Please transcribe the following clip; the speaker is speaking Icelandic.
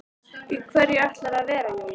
Í hverju ætlarðu að vera Júlía?